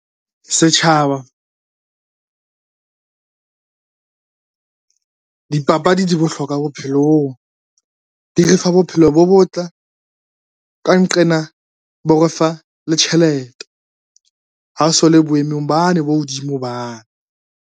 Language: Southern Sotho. Setjhaba dipapadi di bohlokwa bophelong di refa bophelo bo botle, ka nqena bo refa le tjhelete. Ha o so le boemong bane bo hodimo bane.